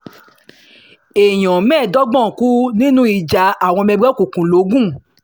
èèyàn mẹ́ẹ̀ẹ́dọ́gbọ̀n kú nínú ìjà àwọn ọmọ ẹgbẹ́ òkùnkùn logun